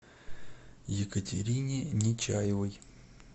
екатерине нечаевой